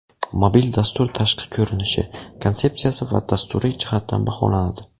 Mobil dastur tashqi ko‘rinishi, konsepsiyasi va dasturiy jihatdan baholanadi.